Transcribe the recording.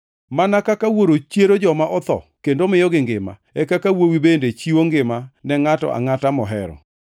Mana kaka Wuoro chiero joma otho, kendo miyogi ngima, e kaka Wuowi bende chiwo ngima ne ngʼato angʼata mohero.